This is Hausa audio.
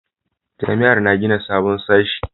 Jami'ar na gina sabon sashe